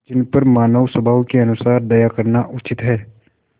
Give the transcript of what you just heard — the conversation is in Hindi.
जिन पर मानवस्वभाव के अनुसार दया करना उचित है